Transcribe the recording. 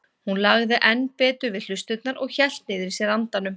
Hún lagði enn betur við hlustirnar og hélt niðri í sér andanum.